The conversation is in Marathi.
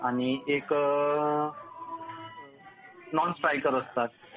आणि एक नॉन स्ट्रायकर असतात.